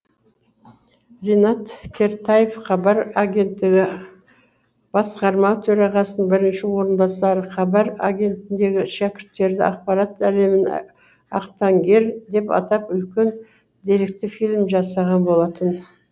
ринат кертаев хабар агенттігі басқарма төрағасының бірінші орынбасары хабар агенттігіндегі шәкірттері ақпарат әлемінің ақтаңгер деп атап үлкен деректі фильм жасаған болатын